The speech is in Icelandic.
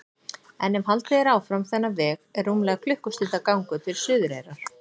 En ef haldið er áfram þennan veg er rúmlega klukkustundar gangur til Suðureyrar.